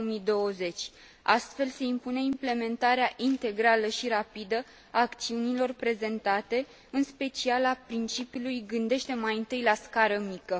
2020. Astfel, se impune implementarea integrală și rapidă a acțiunilor prezentate, în special a principiului gândește mai întâi la scară mică.